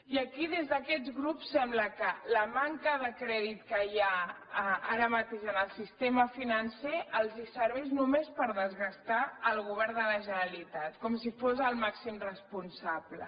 i aquí des d’aquests grups sembla que la manca de crèdit que hi ha ara mateix en el sistema financer els serveix només per desgastar el govern de la generalitat com si en fos el màxim responsable